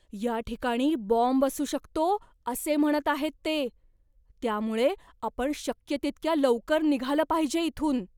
या ठिकाणी बॉम्ब असू शकतो असे म्हणत आहेत ते, त्यामुळे आपण शक्य तितक्या लवकर निघालं पाहिजे इथून.